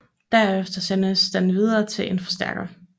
Derfra sendes den videre til en forstærker